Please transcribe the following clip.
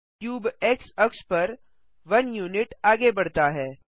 cube X अक्ष पर one unit आगे बढ़ता है